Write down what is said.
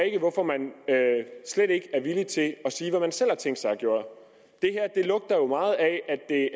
ikke hvorfor man slet ikke er villig til at sige hvad man selv har tænkt sig at jo meget af at det